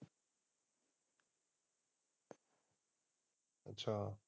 ਅੱਛਾ।